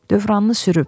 Dövranını sürüb.